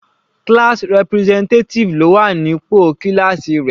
Class representative ló wà ní pò kíláásì rẹ̀.